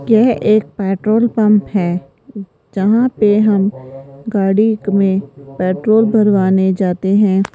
यह एक petrol pump है जहां पे हम गाड़ी में पेट्रोल भरवाने जाते हैं।